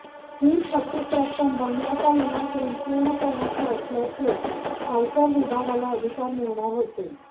ही थकीत रक्कम बंगल्याचा लिलाव करून पूर्ण करण्याची असल्याचे आयकर विभागाला अधिकार मिळणार होते